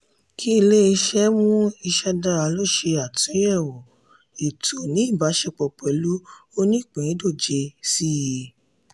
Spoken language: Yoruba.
kí ilé-iṣẹ́ mú ìṣe dára lò ṣe àtúnyẹ̀wò ètò ní ìbáṣepọ̀ pẹ̀lú onípìńdọ̀jẹ̀ síi